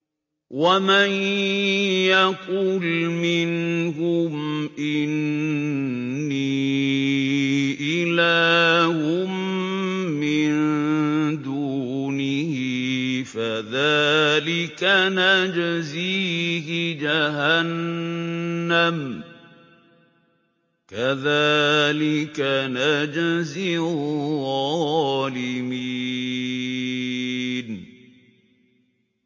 ۞ وَمَن يَقُلْ مِنْهُمْ إِنِّي إِلَٰهٌ مِّن دُونِهِ فَذَٰلِكَ نَجْزِيهِ جَهَنَّمَ ۚ كَذَٰلِكَ نَجْزِي الظَّالِمِينَ